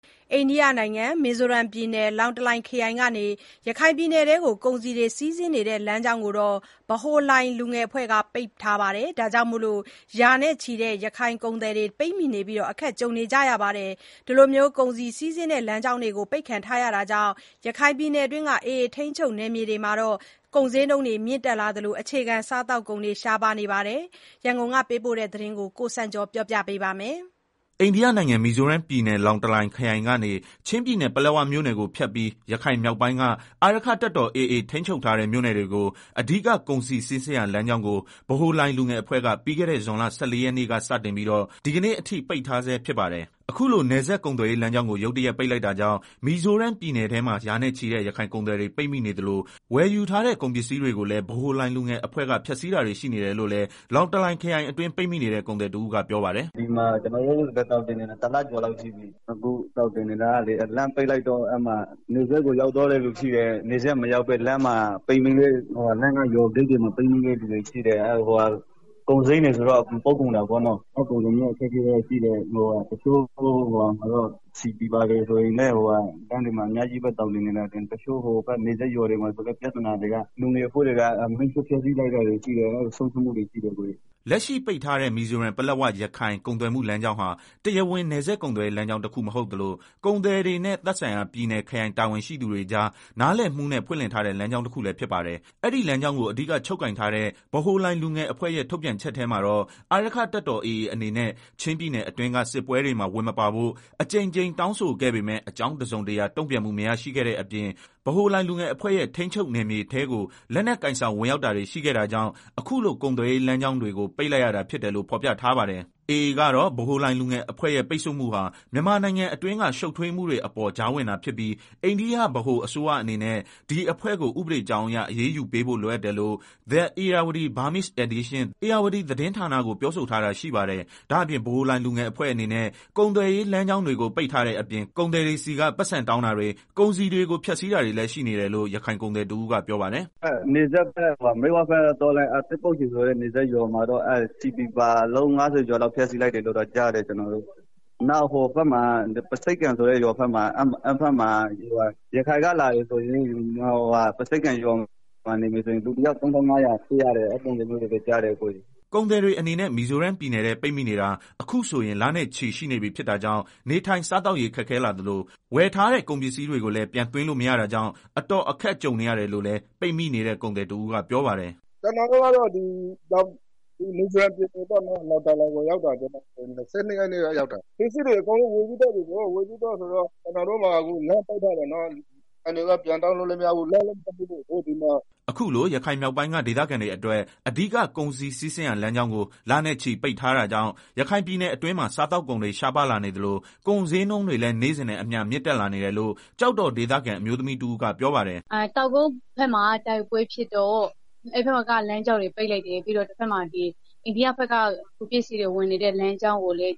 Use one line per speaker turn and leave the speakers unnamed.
အိန္ဒိယနိုင်ငံ၊ မီဇိုးရမ်းပြည်နယ်၊ လောင်တလိုင်ခရိုင်ကနေ ရခိုင်ပြည်နယ်အတွင်းကို ကုန်စည်တွေစီးဆင်းနေတဲ့ လမ်းကြောင်းကို ဗဟိုလိုင် လူငယ်အဖွဲ့က ပိတ်ထားတာကြောင့် ရာနဲ့ချီတဲ့ ရခိုင်ကုန်သည်တွေ ပိတ်မိနေပြီး အခက်ကြုံနေရပါတယ်။ အဲဒီလို ကုန်စည်းစီးဆင်ရာလမ်းကြောင်းတွေ ပိတ်ခံထားရတာကြောင့် ရခိုင်ပြည်နယ်အတွင်းက AA ထိန်းချုပ်မြို့နယ်တွေမှာ ကုန်စျေးနှုန်းတွေ မြင့်တက်လာနေသလို အခြေခံစားသုံးကုန်တွေ ရှားပါးနေတယ်လို့ ဒေသခံတွေက ပြောပါတယ်။ ဒီအကြောင်း သတင်းပေးပို့ချက်ကို အခြေခံပြီး ကိုစံကျော်က တင်ပြပေးပါမယ်။
အိန္ဒိယနိုင်ငံ၊ မီဇိုးရမ်းပြည်နယ် လောင်တလိုင်ခရိုင်ကနေ ချင်းပြည်နယ် ပလက်ဝမြို့နယ်ကိုဖြတ်ပြီး ရခိုင်မြောက်ပိုင်းက အာရက္ခတပ်တော် AA ထိန်းချုပ်ထားတဲ့ မြို့နယ်တွေကို အဓိက ကုန်စည်စီးဆင်းရာ လမ်းကြောင်းကို ဗဟိုလိုင် လူငယ်အဖွဲ့က ပြီးခဲ့တဲ့ ဇွန်လ ၁၄ ရက်နေ့ကစတင်ပြီးတော့ ဒီကနေ့အထိ ပိတ်ထားဆဲဖြစ်ပါတယ်။ အခုလို နယ်စပ်ကုန်သွယ်ရေးလမ်းကြောင်းကို ရုတ်တရက် ပိတ်လိုက်တာကြောင့် မီဇိုးရမ်းပြည်နယ်ထဲမှာ ရာနဲ့ချီတဲ့ ရခိုင်ကုန်သည်တွေ ပိတ်မိနေသလို ဝယ်ယူထားတဲ့ ကုန်ပစ္စည်းတွေကိုလည်း ဗဟိုလိုင် လူငယ်အဖွဲ့(Central Young Lai Association -CYLA)က ဖျက်ဆီးတာတွေရှိတယ်လို့လည်း လောင်တလိုင် ခရိုင်အတွင်း ပိတ်မိနေတဲ့ ကုန်သည်တဦးက ပြောပါတယ်။ “
ဒီမှာကျနော်တို့သောင်တင်နေတာ တလကျော်လောက်ရှိပြီ။ လမ်းပိတ်လိုက်တော့ တချို့ နယ်စပ်ကို ရောက်သွားတဲ့ သူတွေရှိတယ်။ နယ်စပ်ကို မရောက်လိုက်ပဲလမ်းမှာ ပိတ်မိနေတဲ့ သူတွေရှိတယ်။ ကုန်စိမ်းတွေဆိုရင်လည်း အကုန်ပုပ်ကုန်တယ်။ အခက်အခဲတော်တော်ရှိတယ်။ စက်သုံးဆီတွေလည်း လမ်းတွေမှာ အများကြီးးပဲ သောင်တင်နေတာ။ တချို့နယ်စပ်ရွာတွေမှာ ဆိုရင်လည်း ပြဿနာတွေက လူငယ်အဖွဲ့တွေက ကုန်တွေကို မီးရှို့ ဖျက်ဆီးလိုက်တာ တွေရှိတယ်။ ဆုံးရှုံးမှုတွေရှိတယ်”
လက်ရှိပိတ်ထားတဲ့ မီဇိုရမ်-ပလက်ဝ-ရခိုင် ကုန်သွယ်မှုလမ်းကြောင်းဟာ တရားဝင် နယ်စပ်ကုန်သွယ်ရေးလမ်းကြောင်းတခုမဟုတ်သလို ကုန်သည်တွေနဲ့ သက်ဆိုင်ရာ ပြည်နယ်၊ ခရိုင်တာဝန်ရှိသူတွေကြား နားလည်မှုနဲ့ ဖွင့်လှစ်ထားတဲ့လမ်းကြောင်းတခုလည်း ဖြစ်ပါတယ်။ အဲဒီလမ်းကြောင်းကို အဓိက ချုပ်ကိုင်ထားတဲ့ ဗဟိုလိုင် လူငယ်အဖွဲ့ ရဲ့ ထုတ်ပြန်ချက်ထဲမှာတော့ အာရက္ခတပ်တော် AA အနေနဲ့ ချင်းပြည်နယ်အတွင်းက စစ်ပွဲတွေမှာ ဝင်မပါဖို့ အကြိမ်ကြိမ်တောင်းဆိုခဲ့ပေမယ့် အကြောင်းတစုံတရာတုန့်ပြန်မှုမရရှိခဲ့တဲ့အပြင် ဗဟိုလိုင်လူငယ်အဖွဲ့ရဲ့ထိန်းချုပ်နယ်မြေထဲကို လက်နက်ကိုင်ဆောင်ဝင်ရောက်တာတွေ ရှိခဲ့တာကြောင့် အခုလို ကုန်သွယ်ရေးလမ်းကြောင်းတွေကို ပိတ်လိုက်ရတာဖြစ် တယ်လို့ဖော်ပြထားပါတယ်။ AA ကတော့ ဗဟိုလိုင်လူငယ်အဖွဲ့ ရဲ့ ပိတ်ဆို့မှုဟာ မြန်မာနိုင်ငံအတွင်းက ရှုပ်ထွေးမှုတွေအပေါ်ကြားဝင်တာဖြစ်ပြီး အိန္ဒိယဗဟိုအစိုးရအနေနဲ့ ဒီအဖွဲ့ကို ဥပဒေကြောင်းအရ အရေးယူပေးဖို့ လိုအပ်တယ်လို့ ဧရာဝတီသတင်းဌာန ကို ပြောဆိုထားတာရှိပါတယ်။ ဒါ့အပြင် ဗဟိုလိုင်လူငယ်အဖွဲ့အနေနဲ့ ကုန်သည်ရေးလမ်းကြောင်းတွေကို ပိတ်ထားတဲ့အပြင် ကုန်သည်တွေဆီက ပိုက်ဆံတောင်းတာတွေ ကုန်စည်တွေကို ဖျက်ဆီးတာတွေလည်း ရှိနေတယ်လို့ ရခိုင်ကုန်သည်တဦးက ပြောပါတယ်
။ “ နယ်စပ်ဘက်က မြစ်ဝဘက်က ရွာတခုမှာ ဆီပီပါအလုံး ၅ဝ လောက်မီးရှို့ ဖျက်ဆီးလိုက်တယ်လို့တော့ ကြားတယ်။ နောက် ပါးဆိပ်ကန် ဆိုတဲ့ ရွာဘက်မှာ ရခိုင်ကလာတဲ့သူတွေ ပါးဆိပ်ကန် ရွာမှာ နေမယ်ဆိုရင် လူတယောက် ၃,၅ဝဝ ပေးရတယ်လို့လည်းကြားတယ်။”
ကုန်သည်တွေအနေနဲ့ မီဇိုးရမ်းပြည်နယ်ထဲ ပိတ်မိနေတာ အခုဆိုရင် လနဲ့ချီရှိနေပြီဖြစ်တာကြောင့် နေထိုင်စားသောက်ရေး ခက်ခဲလာသလို ဝယ်ထားတဲ့ကုန်ပစ္စည်းတွေကိုလည်း ပြန်သွင်းလို့မရတာကြောင့် အတော်အခက်ကြုံနေရတယ်လို့လည်း ပိတ်မိနေတဲ့ ကုန်သည်တဦးကပြောပါတယ်။
“ ကျနော်တို့ကတော့ မီဇိုးရမ်းပြည်နယ် လောင်တလိုင်ကိုရောက်တာ ဇွန်လ ၂၂ရက်နေ့ က ရောက်တာ၊ ပစ္စည်းတွေ အကုန်လုံးဝယ်ပြီးသွားပြီ အခုက လမ်းပိတ်ထားတော့ ပစ္စည်းတွေလည်း ချလို့မရ၊ ဆိုင်ရှင်တွေဆီက ပိုက်ဆံလည်းပြန်တောင်းလို့မရ လမ်းလည်းပြန် မဖွင့်သေးဘူးဒီမှာ။
” အခုလို ရခိုင်မြောက်ပိုင်းကဒေသခံတွေအတွက် အဓိက ကုန်စည်စီးဆင်းရာလမ်းကြောင်းကို လနဲ့ချီပိတ်ထားတာကြောင့် ရခိုင်ပြည်နယ်အတွင်းမှာ စားသောက်ကုန်တွေ ရှားပါးလာနေသလို ကုန်စျေးနှုန်းတွေလည်း နေ့စဉ်နဲ့အမျှ မြင့်တက်လာနေတယ်လို့ ကျောက်တော်ဒေသခံ အမျိုးသမီးတဦးကပြောပါတယ်
။ “ တောင်ကုတ်ဘက်မှာ တိုက်ပွဲဖြစ်တော့ အဲဒီဘက်က လမ်းကြောင်းတွေ ပိတ်လိုက်တယ်။ ပြီးတော့ အိန္ဒိယဘက်က ပစ္စည်းတွေဝင်နေတဲ့ လမ်းကြောင်းကိုလည်း